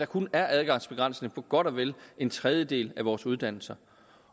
kun adgangsbegrænsning på godt og vel en tredjedel af vores uddannelser